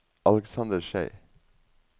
Alexander Schei